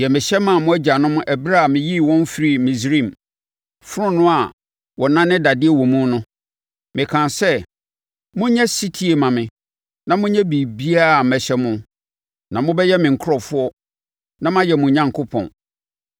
deɛ mehyɛ maa mo agyanom ɛberɛ a meyii wɔn firii Misraim, fononoo a wɔnane dadeɛ wo mu no.’ Mekaa sɛ, ‘Monyɛ ɔsetie mma me na monyɛ biribiara mehyɛ mo, na mobɛyɛ me nkurɔfoɔ na mayɛ mo Onyankopɔn.